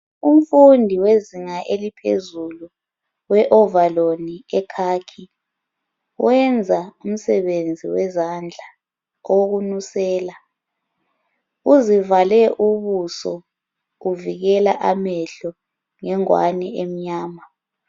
Umfundi wezinga eliphezulu we ovaloli ekhakhi wenza umsebenzi wezandla okunusela uzivale ubuso uvikela amehlo ngengwani emnyama